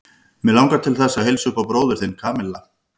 Mig langar til þess að heilsa upp á bróður þinn, Kamilla.